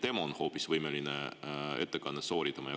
Äkki on hoopis tema võimeline ettekannet pidama?